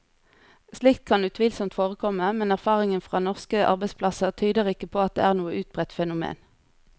Slikt kan utvilsomt forekomme, men erfaringen fra norske arbeidsplasser tyder ikke på at det er noe utbredt fenomen.